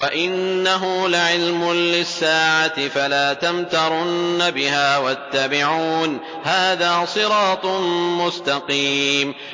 وَإِنَّهُ لَعِلْمٌ لِّلسَّاعَةِ فَلَا تَمْتَرُنَّ بِهَا وَاتَّبِعُونِ ۚ هَٰذَا صِرَاطٌ مُّسْتَقِيمٌ